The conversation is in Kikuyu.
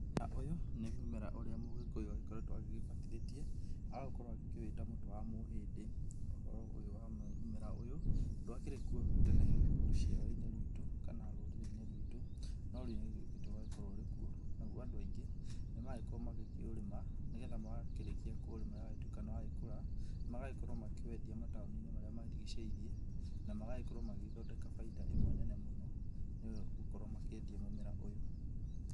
Ũyũ, nĩ mũmera ũrĩa mũgĩkũyũ agĩkoretwo agĩgĩbatithĩtie agagĩkorwo akĩwĩta mũtĩ wa mũhĩndĩ. Uhoro ũyũ wa mũmera ũyũ ndwakĩrĩ kuo tena rũciaro-inĩ rwitũ, kana rũrĩrĩ-inĩ rwitũ, no rĩu nĩũgĩũkĩte ũgagĩkorwo ũrĩ kuo. Naguo andũ aingĩ, nĩmaragĩkorwo makĩũrĩma nĩgetha makĩrĩkia kũũrĩma na ũgagĩtuĩka nĩ wa gĩkũra magagĩkorwo makĩwendia mataũni-inĩ marĩa marigicĩirie na magagĩkorwo magĩgĩthondeka baida ĩmwe nene mũno nĩ gũkorwo makĩendia mũmera ũyũ.